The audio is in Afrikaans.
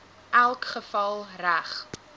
elk geval reg